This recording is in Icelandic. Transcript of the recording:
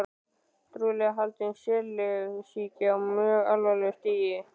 Trúlega haldinn stelsýki á mjög alvarlegu stigi.